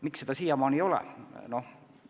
Miks seda siiamaani ei ole?